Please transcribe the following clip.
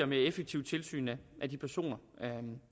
mere effektivt tilsyn af de personer